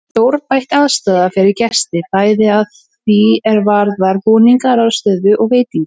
Þar er stórbætt aðstaða fyrir gesti, bæði að því er varðar búningsaðstöðu og veitingar.